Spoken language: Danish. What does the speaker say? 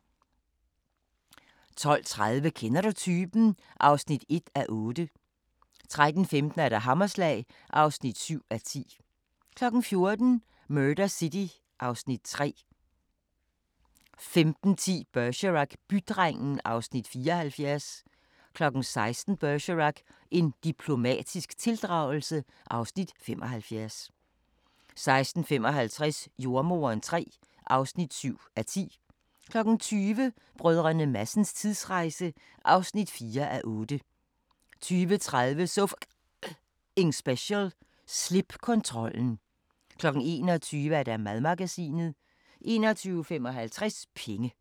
12:30: Kender du typen? (1:8) 13:15: Hammerslag (7:10) 14:00: Murder City (Afs. 3) 15:10: Bergerac: Bydrengen (Afs. 74) 16:00: Bergerac: En diplomatisk tildragelse (Afs. 75) 16:55: Jordemoderen III (7:10) 20:00: Brdr. Madsens tidsrejse (4:8) 20:30: So F***ing Special: Slip kontrollen 21:00: Madmagasinet 21:55: Penge